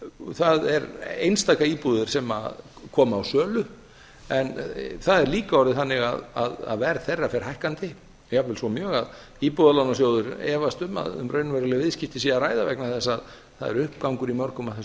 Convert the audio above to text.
það eru einstaka íbúðir sem koma á sölu en það er líka orðið þannig að verð þeirra fer hækkandi jafnvel svo mjög að íbúðalánasjóður efast um að um raunveruleg viðskipti sé að ræða vegna þess að það er uppgangur í mörgum af þessum